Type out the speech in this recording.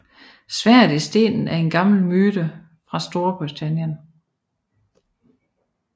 Sværdet i stenen er en gammel myte fra Storbritannien